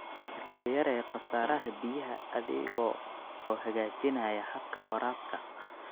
Iska yaree khasaaraha biyaha adiga oo hagaajinaya habka waraabka.